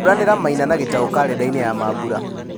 turanĩra maina na gĩtau karenda-inĩ ya mambura